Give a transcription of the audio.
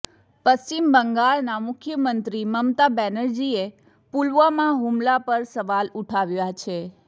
પશ્ચિમ બંગાળના મુખ્યમંત્રી મમતા બેનર્જીએ પુલવામા હુમલા પર સવાલ ઉઠાવ્યા છે